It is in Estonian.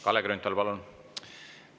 Kalle Grünthal, palun!